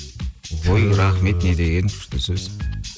ой рахмет не деген күшті сөз